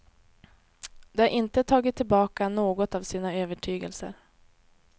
De har inte tagit tillbaka något av sin övertygelse.